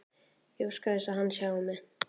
Ég óska þess að hann sjái mig.